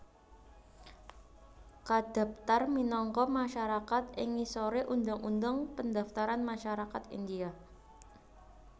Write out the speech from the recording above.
kadaptar minangka masyarakat ing ngisore Undang Undang Pendaftaran Masyarakat India